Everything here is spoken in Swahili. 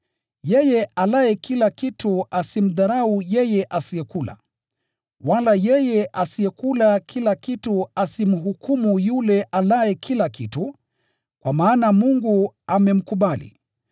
Yeye alaye kila kitu asimdharau yeye asiyekula. Wala yeye asiyekula kila kitu asimhukumu yule alaye kila kitu, kwa maana Mungu amemkubali.